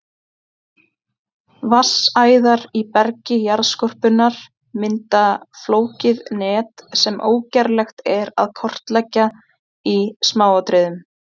Vatnsæðar í bergi jarðskorpunnar mynda flókið net sem ógerlegt er að kortleggja í smáatriðum.